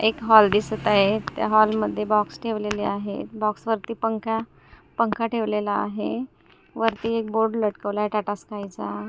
एक हॉल दिसत आहे त्या हॉल मध्ये बॉक्स ठेवलेले आहेत बॉक्स वरती पंखा पंखा ठेवलेला आहे वरती एक बोर्ड लटकवलाय टाटा स्काय चा.